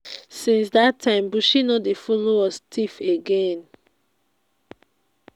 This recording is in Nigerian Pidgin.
since dat time buchi no dey follow us thief again.